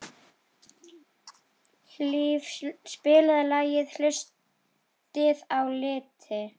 Hlíf, spilaðu lagið „Haustið á liti“.